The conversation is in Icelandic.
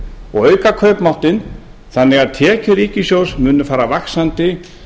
og auka kaupmáttinn þannig að tekjur ríkissjóðs munu fara vaxandi